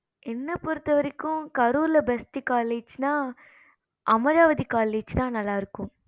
என்ன பொறுத்த வரைக்கு கரூர்ல best college அமராவதி college தான் நல்ல இருக்கும்